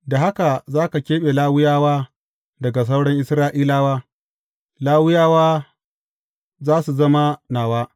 Da haka za ka keɓe Lawiyawa daga sauran Isra’ilawa, Lawiyawa za su zama nawa.